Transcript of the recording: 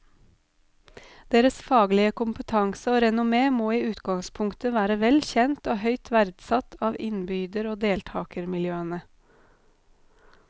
Deres faglige kompetanse og renommé må i utgangspunktet være vel kjent og høyt verdsatt av innbyder og deltagermiljøene.